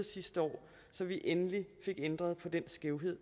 sidste år så vi endelig fik ændret på den skævhed